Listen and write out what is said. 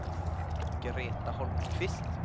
Greta Holmqvist